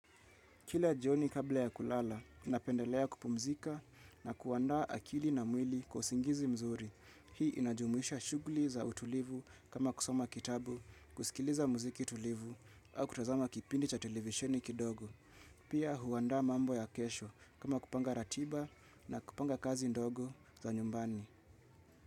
Kila jioni kabla ya kulala inapendelea kupumzika na kuandaa akili na mwili kwa usingizi mzuri. Hii inajumuisha shugli za utulivu kama kusoma kitabu, kusikiliza muziki tulivu au kutazama kipindi cha televisheni kidogo. Pia huandaa mambo ya kesho kama kupanga ratiba na kupanga kazi ndogo za nyumbani.